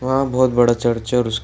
वहाँ बहुत बड़ा चर्च है और उसके --